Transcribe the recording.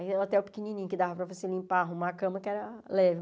É um hotel pequenininho que dava para você limpar, arrumar a cama, que era leve.